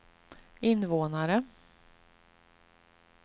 invånare